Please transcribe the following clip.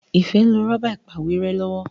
Ifẹ nlò Rọ́bà ìpàwérẹ́ lọwọ.